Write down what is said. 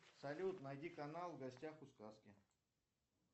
салют найди канал в гостях у сказки